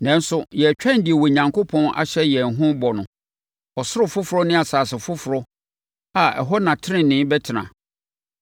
Nanso, yɛtwɛn deɛ Onyankopɔn ahyɛ yɛn ho bɔ no, ɔsoro foforɔ ne asase foforɔ a ɛhɔ na tenenee bɛtena.